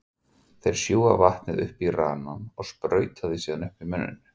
Þeir sjúga vatnið upp í ranann og sprauta því síðan upp í munninn.